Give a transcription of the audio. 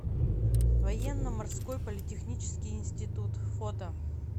военно морской политехнический институт фото